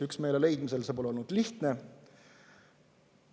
Üksmeele leidmine pole olnud lihtne.